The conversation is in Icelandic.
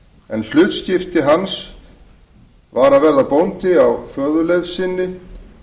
en hlutskipti hans var að verða bóndi á föðurleifð sinni